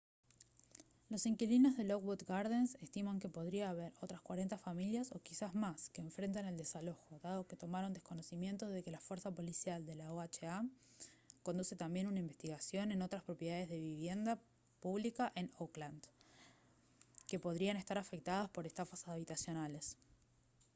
los inquilinos de lockwood gardens estiman que podría haber otras 40 familias o quizás más que enfrentan el desalojo dado que tomaron conocimiento de que la fuerza policial de la oha conduce también una investigación en otras propiedades de vivienda pública en oakland que podrían estar afectadas por estafas habitacionales